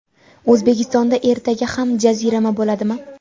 O‘zbekistonda ertaga ham jazirama bo‘ladimi?.